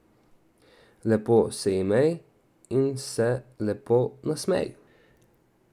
Lepo se imej in se lepo nasmej.